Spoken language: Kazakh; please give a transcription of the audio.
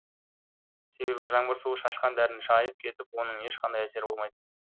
себебі жаңбыр суы шашқан дәріні шайып кетіп оның ешқандай әсері болмайды